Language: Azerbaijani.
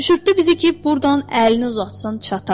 Düşürtdü bizi ki, burdan əlini uzatsın çatar.